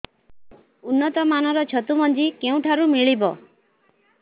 ଉନ୍ନତ ମାନର ଛତୁ ମଞ୍ଜି କେଉଁ ଠାରୁ ମିଳିବ